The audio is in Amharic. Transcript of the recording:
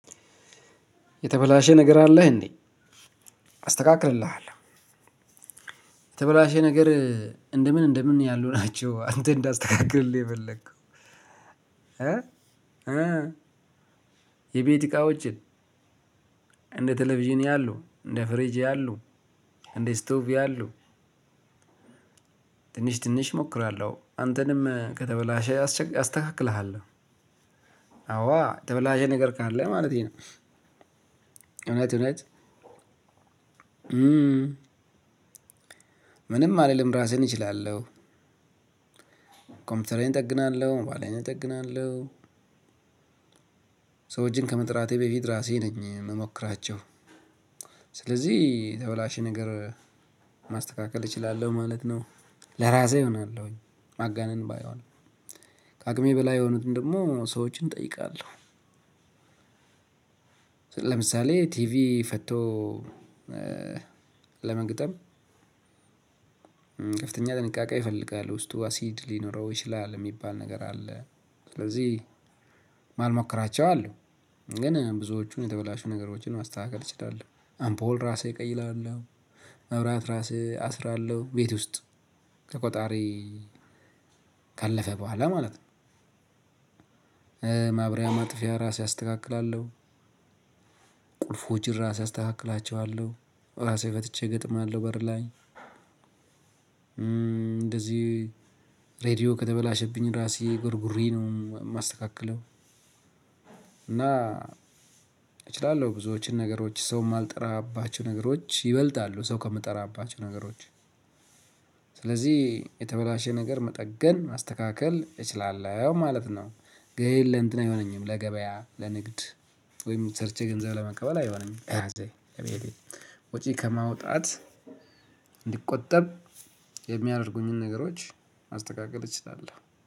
የተበላሸ ነገር አለህ እንዴ አስተካክልልሃለሁ። የተበላሸ ነገር እንደምን እንደምን ያሉ ናቸው አንተ እንዳስተካክልልህ የፈለከው። እ የቤት እቃወችን። እንደ ቴሌቪዥን ያሉ እንደ ፍሪጅ ያሉ እንደ ስቶቭ ያሉ። ትንሽ ትንሽ እሞክራለሁ አንተንም ከተበላሸህ አስተካክልሃለሁ። አዋ የተበላሸ ነገር ካለ ማለቴ ነው። እውነት እውነት። ምንም አልልም ራሴን እችላለሁ። ኮምፒውተሬን እጠግናለሁ ሞባይሌን እጠግናለሁ። ሰዎችን ከመጥራቴ በፊት ራሴ ነኝ የምሞክራቸው። ስለዚህ የተበላሸ ነገር ማስተካከል እችላለሁ ማለት ነው። ለራሴ እሆናለሁኝ ማጋነን ባይሆን አቅሜ በላይ የሆኑትን ደግሞ ሰዎችን እጠይቃለሁ። ለምሳሌ ቲቪ ፈቶ ለመግጠም ጥንቃቄ ይፈልጋል ውስጡ አሲድ ሊኖረው ይችላል የሚባል ነገር አለ። ስለዚህ ማልሞክራቸው አሉ። ግን ብዙዎቹን የተበላሹ ነገሮችን ማስተካከል እችላለሁ አንፖል እራሴ እቀይራለሁ። መብራት ራሴ አስራለሁ ቤት ውስጥ ከቆጣሪ ካለፈ በኋላ ማለት ነው። ማብሪያ ማጥፊያ ራሴ አስተካክላለሁ። ቁልፎችን ራሴ አስተካክላቸዋለሁ ራሴ ፈትቼ እገጥማለሁ በር ላይ። እንደዚህ ሬድዮ ከተበላሸብኝ ራሴ ጎርጉሬ ነው የማስተካክለው። እና እችላለሁ ብዙዎች ነገሮች ሰው ማልጠራባቸው ነገሮች ይበልጣሉ ሰው ከምጠራባቸው ነገሮች። ስለዚህ የተበላሸ ነገር መጠገን ማስተካከል እችላለሁ ማለት ነው። ግን ለእንትን አይሆነኝም ለገበያ ለንግድ ወይም ሰርቼ ገንዘብ ለመቀበል አይሆነኝም። ለራሴ ለቤቴ ወጪ ከማውጣት እንድቆጠብ የሚያደርጉኝን ነገሮች ማስተካከል እችላለሁ